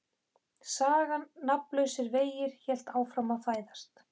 Sagan Nafnlausir vegir hélt áfram að fæðast.